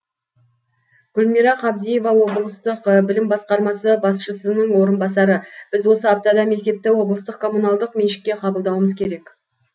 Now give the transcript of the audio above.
гүлмира қабдиева облыстық білім басқармасы басшысының орынбасары біз осы аптада мектепті облыстық коммуналдық меншікке қабылдауымыз керек